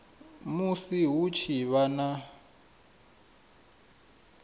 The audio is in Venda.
musi hu tshi vha na